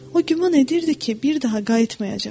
O güman edirdi ki, bir daha qayıtmayacaq.